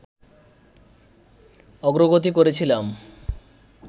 অগ্রগতি করেছিলাম